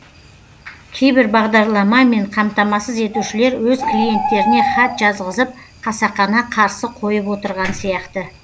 кейбір бағдарламамен қамтамасыз етушілер өз клиенттеріне хат жазғызып қасақана қарсы қойып отырған сияқты